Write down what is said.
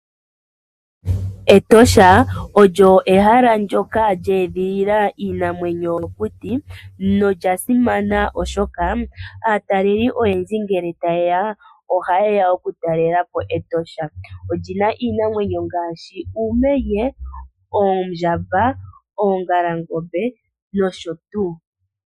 Etosha National Park olyo ehala ndyoka lyeedhilila iinamwenyo yomokuti noyasimana oshoka, aatalelipo oyendji ngele tayeya, ohayeya okutalelapo Etosha. Oyina iinamwenyo ngaashi uumenye, oondjamba , oongalangombe noshotuu.